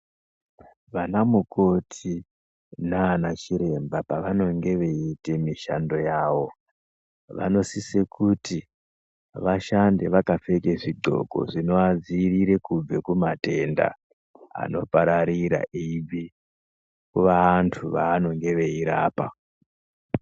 Vana mukoti naana chiremba pavanenge eita mishando yavo. Vanosise kuti vashande vakapfeke zvidloko zvinoadziirira kubve kumatenda anopararira eibve kuvandu vaanonge eirapa.